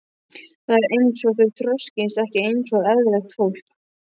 Það er einsog þau þroskist ekki einsog eðlilegt fólk.